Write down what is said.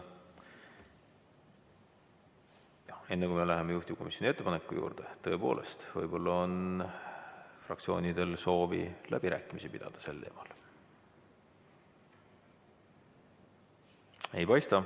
Enne kui me läheme juhtivkomisjoni ettepaneku juurde, tõepoolest, võib-olla on fraktsioonidel soovi pidada sel teemal läbirääkimisi.